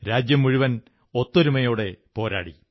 രാജ്യം മുഴുവൻ ഒത്തൊരുമയോടെ പോരാടി